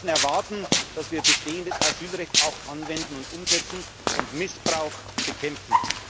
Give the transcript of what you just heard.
verlieren. Die Menschen erwarten, dass wir bestehendes Asylrecht auch anwenden und umsetzen und Missbrauch